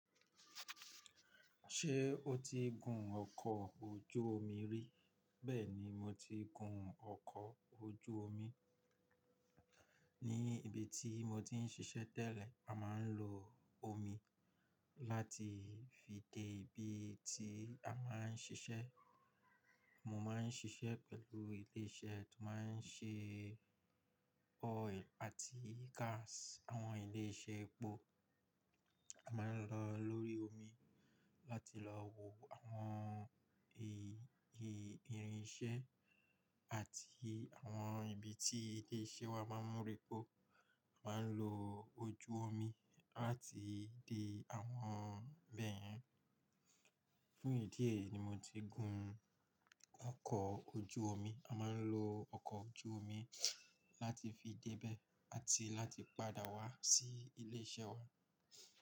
Ṣé o ti gun ọkọ̀ ojú omi rí? Bẹ́ẹ̀ni, mo ti gun ọkọ̀ ojú omi. Ní ibi tí mo ti ń ṣiṣẹ́ tẹ́lẹ̀ a máa ń lo omi láti fi dé ibi tí a máa ń ṣiṣẹ́. Mo máa ń ṣiṣẹ́ pẹ̀lú ilé iṣẹ́ tó máa ń ṣe oil àti gas. Àwọn ilé iṣẹ́ epo a máa ń lọ lórí omi láti lọ wo àwọn irìnsẹ́ àti àwọn ibi tí ilé iṣẹ́ wa máa ń mú repo. A máa ń lo ojú omi láti fi dé àwọn ibẹ́yẹn. Fún ìdí èyí ni mo ti gun ọkọ̀ ojú omi. A máa ń lo ọkọ̀ ojú omi láti fi dé ibẹ̀ àti láti padà wá sí ilé iṣẹ́ wa.